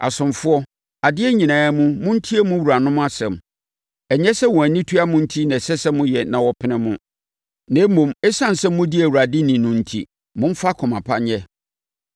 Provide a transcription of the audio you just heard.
Asomfoɔ, adeɛ nyinaa mu, montie mo wuranom asɛm. Ɛnyɛ sɛ wɔn ani tua mo enti na ɛsɛ sɛ moyɛ na wɔpene mo, na mmom, ɛsiane sɛ modi Awurade ni no enti, momfa akoma pa nyɛ.